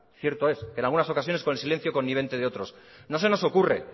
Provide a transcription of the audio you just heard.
cierto es que en algunas ocasiones con silencio conveniente de otros no se nos ocurre